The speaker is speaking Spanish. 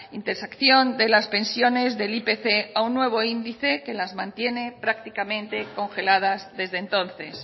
intersección de las pensiones del ipc a un nuevo índice que las mantiene prácticamente congeladas desde entonces